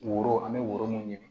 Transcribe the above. Woro an bɛ woro mun ɲini